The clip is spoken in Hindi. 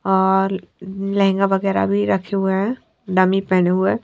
और लहंगा वगैरा भी रखे हुए है डमी पहने हुए हैं।